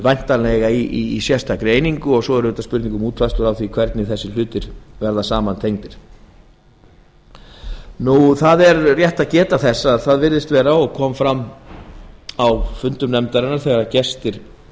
væntanlega í sérstakri einingu og svo er það spurning um útfærslur á því hvernig þessir hlutir verða tengdir saman það er rétt að geta þess að svo virðist vera og kom fram á fundum nefndarinnar þegar gestir